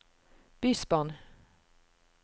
bysbarn